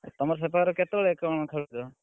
ତମର ସେପାଖେ କେତେ ବେଳେ କଣ ଖେଳୁଛ।